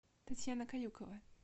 татьяна каюкова